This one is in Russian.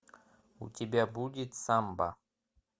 у тебя будет самба